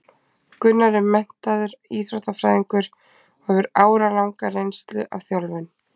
Gunnar er menntaður íþróttafræðingur og hefur áralanga reynslu af þjálfun.